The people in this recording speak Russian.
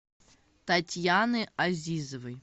татьяны азизовой